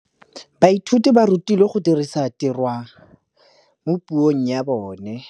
Baithuti ba rutilwe go dirisa tirwa mo puong ya bone.